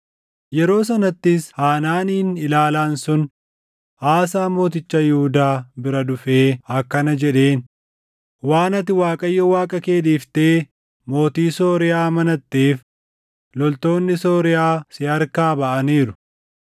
Yeroo sanattis Hanaaniin ilaalaan sun Aasaa mooticha Yihuudaa bira dhufee akkana jedheen; “Waan ati Waaqayyo Waaqa kee dhiiftee mootii Sooriyaa amanatteef loltoonni Sooriyaa si harkaa baʼaniiru.